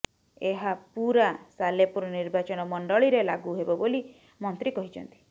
ଏହା ପୂରା ସାଲେପୁର ନିର୍ବାଚନ ମଣ୍ଡଳୀରେ ଲାଗୁ ହେବ ବୋଲି ମନ୍ତ୍ରୀ କହିଛନ୍ତି